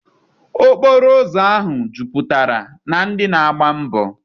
Okporo ụzọ ahụ jupụtara na ndị na-agba mbọọ.